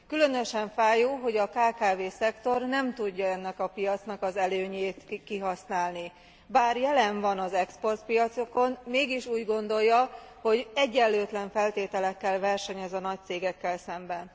Különösen fájó, hogy a kkv szektor nem tudja ennek a piacnak az előnyét kihasználni. Bár jelen van az exportpiacokon, mégis úgy gondolja, hogy egyenlőtlen feltételekkel versenyez a nagy cégekkel szemben.